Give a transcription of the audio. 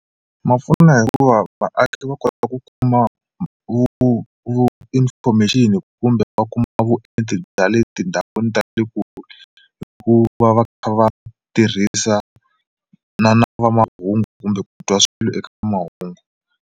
Ma pfuna hikuva vaaki va kota ku kuma vu vu vu information kumbe va kuma vuenti bya le tindhawini ta le kule hikuva va kha va tirhisa na na va mahungu kumbe ku twa swilo eka mahungu.